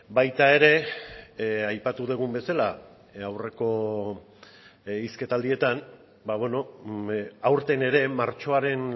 baita ere aipatu dugun bezala aurreko hizketaldietan aurten ere martxoaren